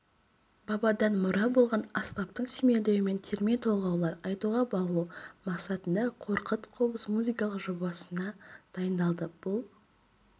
бабадан мұра болған аспаптың сүйемелдеуімен терме-толғаулар айтуға баулу мақсатында қорқыт қобыз музыкалық жобасы дайындалды бұл